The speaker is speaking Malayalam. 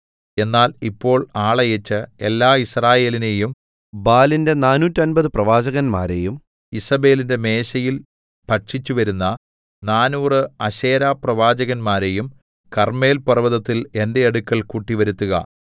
എന്നാൽ ഇപ്പോൾ ആളയച്ച് എല്ലാ യിസ്രായേലിനെയും ബാലിന്റെ നാനൂറ്റമ്പത് പ്രവാചകന്മാരെയും ഈസേബെലിന്റെ മേശയിൽ ഭക്ഷിച്ചുവരുന്ന നാനൂറ് അശേരാപ്രവാചകന്മാരെയും കർമ്മേൽപർവ്വതത്തിൽ എന്റെ അടുക്കൽ കൂട്ടിവരുത്തുക